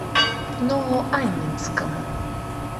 новоаннинскому